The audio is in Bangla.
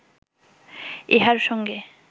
ইহার সঙ্গে